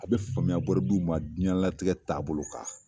A be faamuya ma jiɲɛlatigɛ taa bolo kan.